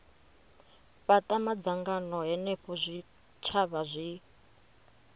fhata madzangano henefho zwitshavha zwi